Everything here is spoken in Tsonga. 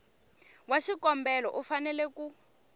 wa xikombelo u fanele ku